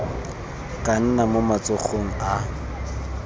ka nna mo matsogong a